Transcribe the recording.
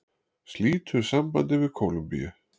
Slítur sambandi við Kólumbíu